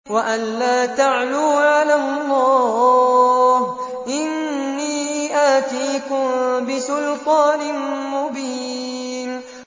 وَأَن لَّا تَعْلُوا عَلَى اللَّهِ ۖ إِنِّي آتِيكُم بِسُلْطَانٍ مُّبِينٍ